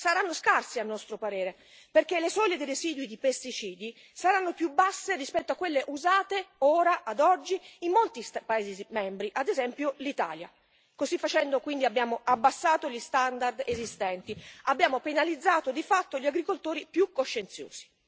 Saranno scarsi, a nostro parere, perché le soglie dei residui di pesticidi saranno più basse rispetto a quelle usate ora, ad oggi, in molti Stati membri, ad esempio l'Italia. Così facendo, quindi, abbiamo abbassato gli standard esistenti, penalizzando di fatto gli agricoltori più coscienziosi.